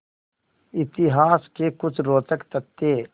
इतिहास के कुछ रोचक तथ्य